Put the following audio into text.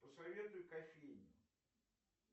посоветуй кофейню